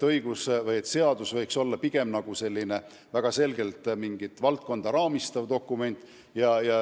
Seadus võiks olla väga selgelt mingit valdkonda raamistav dokument.